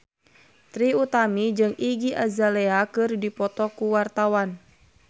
Trie Utami jeung Iggy Azalea keur dipoto ku wartawan